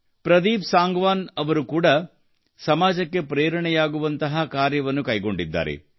ಪ್ರದೀಪ್ ಸಾಂಗ್ವಾನ್ ಅವರು ಕೂಡಾ ಸಮಾಜಕ್ಕೆ ಪ್ರೇರಣೆಯಾಗುವಂತಹ ಕಾರ್ಯವನ್ನು ಕೈಗೊಂಡಿದ್ದಾರೆ